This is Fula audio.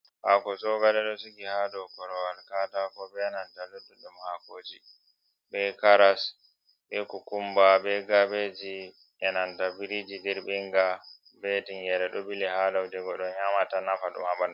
Hako sogale ɗosigi ha dow korowal katako, be nanta lutuɗɗe hakoji, be karas, be kukumba, be kabeji, enanta biriji dirɓinga, betingere, ɗo bili ha laujego je goɗɗo nyamata nafa ɗum haɓandu.